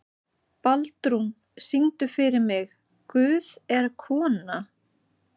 Baldrún, syngdu fyrir mig „Guð er kona“.